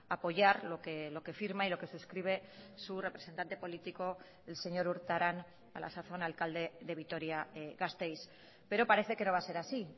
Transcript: apoyar lo que firma y lo que suscribe su representante político el señor urtaran a la sazón alcalde de vitoria gasteiz pero parece que no va a ser así